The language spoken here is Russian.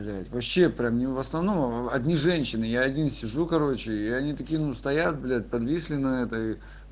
блядь вообще прям ну в основном одни женщины я один сижу короче и они такие ну стоят блядь подвисли на этой